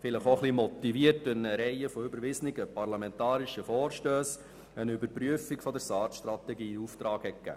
Vielleicht wurde er auch durch eine Reihe von überwiesenen, parlamentarischen Vorstössen ein wenig motiviert.